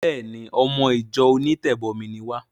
Béèni! Ọmọ ìjọ onítẹ̀bọmi ni wá.